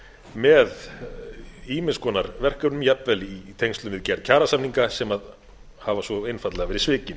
með ýmiss konar verkefnum jafnvel í tengslum við gerð kjarasamninga sem hafa svo einfaldlega verið svikin